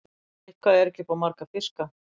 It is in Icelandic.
Eitthvað er ekki upp á marga fiska